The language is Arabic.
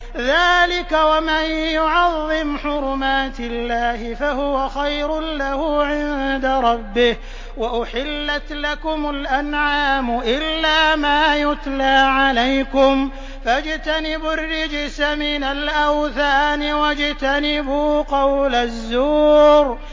ذَٰلِكَ وَمَن يُعَظِّمْ حُرُمَاتِ اللَّهِ فَهُوَ خَيْرٌ لَّهُ عِندَ رَبِّهِ ۗ وَأُحِلَّتْ لَكُمُ الْأَنْعَامُ إِلَّا مَا يُتْلَىٰ عَلَيْكُمْ ۖ فَاجْتَنِبُوا الرِّجْسَ مِنَ الْأَوْثَانِ وَاجْتَنِبُوا قَوْلَ الزُّورِ